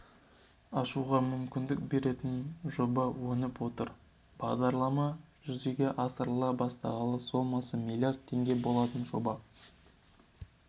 ашуға мүмкіндік беретін жоба еніп отыр бағдарлама жүзеге асырыла бастағалы сомасы миллиард теңге болатын жоба